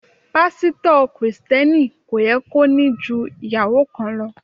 Pásítọ̀ Kristẹni kò yẹ kó ní ju ìyàwó kan lọ.